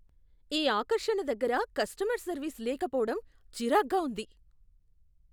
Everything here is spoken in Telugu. ఈ ఆకర్షణ దగ్గర కస్టమర్ సర్వీస్ లేకపోవడం చిరాక్గా ఉంది.